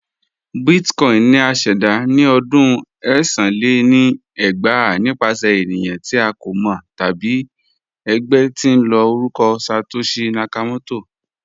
Bitcoin ni à ṣẹda ni ọdún ẹ̀sán lé ní ẹgbàá nipasẹ̀ ènìyàn ti a kò mọ tabi ẹgbẹ̀ tín ló orúkọ Satoshi Nakamoto